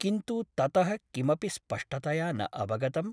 किन्तु ततः किमपि स्पष्टतया न अवगतम् ।